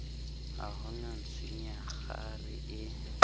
ha ho na ntshunyekgare e